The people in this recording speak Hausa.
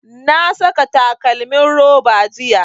Na saka takalmin roba jiya